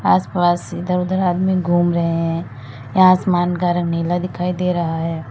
आस पास इधर उधर आदमी घूम रहे हैं यहां आसमान का रंग नीला दिखाई दे रहा है।